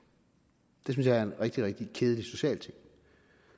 det synes jeg er en rigtig rigtig kedelig social ting